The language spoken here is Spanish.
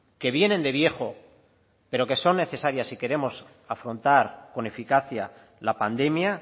que vienen de viejo pero que son necesarias si queremos afrontar con eficacia la pandemia